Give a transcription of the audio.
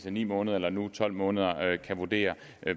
af ni måneder eller nu tolv måneder kan vurdere